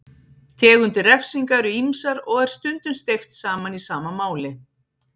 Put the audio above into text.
Tegundir refsinga eru ýmsar og er stundum steypt saman í sama máli.